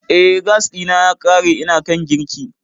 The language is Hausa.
E, gas ɗina ya ƙare ina kan girki.